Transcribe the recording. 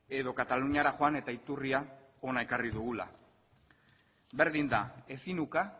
edo kataluniara joan eta iturria hona ekarri dugula berdin da ezin uka